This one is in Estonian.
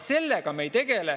Sellega me ei tegele.